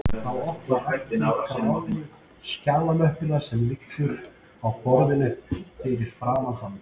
Þá opnar Raggi gráu skjalamöppuna sem liggur á borðinu fyrir framan hann